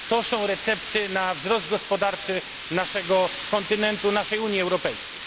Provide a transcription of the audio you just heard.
To są recepty na wzrost gospodarczy naszego kontynentu, naszej Unii Europejskiej.